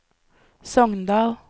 Sogndal